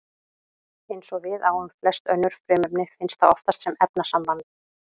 Eins og við á um flest önnur frumefni finnst það oftast sem efnasamband.